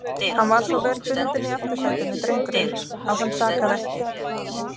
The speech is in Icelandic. Hann var svo vel bundinn í aftursætinu, drengurinn, að hann sakaði ekki.